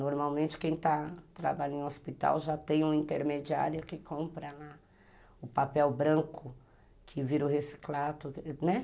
Normalmente quem está, trabalha em um hospital já tem um intermediário que compra o papel branco que vira o reciclado, né?